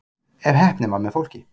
ef heppnin var með fólki